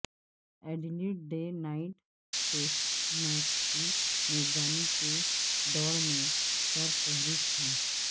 Adelaide day night test match کی میزبانی کی دوڑ میں سرفہرست ہے